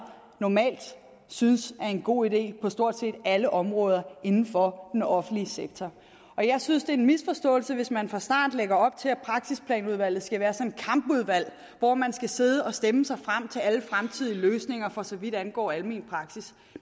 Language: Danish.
normalt synes er en god idé på stort set alle områder inden for den offentlige sektor jeg synes det er en misforståelse hvis man fra starten lægger op til at praksisplanudvalget skal være sådan et kampudvalg hvor man skal sidde og stemme sig frem til alle fremtidige løsninger for så vidt angår almen praksis